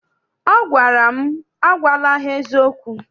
Ọ gwara m, agwala ha eziokwu!